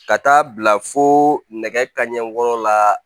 Ka taa bila fo nɛgɛ kaɲɛ wɔɔrɔ la